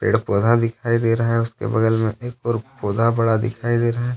पेड़ पौधा दिखाई दे रहा है उसके बगल में एक और पौधा बड़ा दिखाई दे रहा है।